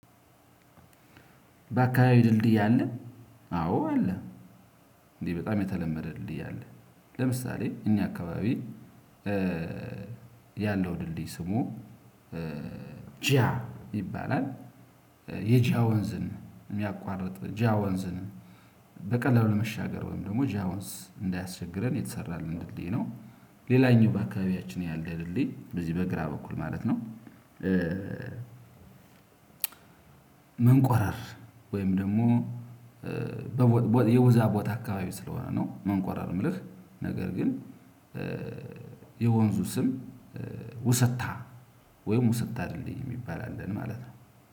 በአከባቢ ድልድይ አለ አዎ አለ። በጣም የተለመደ ድልድይ አለ ለምሳሌ እኛ አከባቢ። ያለው ድልድይ ስሙ ጃ ይባላል። የጃ ወንዝን የሚያቋርጥ ጂያ ወንዝን ለመሻገር ወይም ደግሞ ጃ ወንዝ እንዳያስቸግረን የተሰራን እንድልይ ነው። ሌላኛው በአካባቢያችን ያለ ድልድይ በዚህ በግራ በኩል ማለት ነው። መንቆራር ወይም ደግሞ የውዛ ቦታ አካባቢ ስለሆነ ነው መንቋረር የምልህ። ነገር ግን የወንዙ ስም ውሰታ ወይም ውሰታ ድልድይ የሚባል አለን ማለት ነው።